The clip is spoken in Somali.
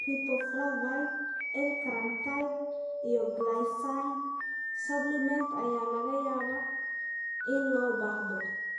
Riboflavin, L carnitine iyo glycine supplements ayaa laga yaabaa in loo baahdo.